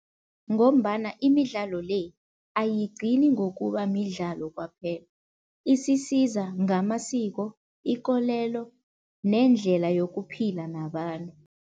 Ngombana imidlalo le ayigcini ngokuba midlalo kwaphela, isisiza ngamasiko, ikolelo nendlela yokuphila nabantu.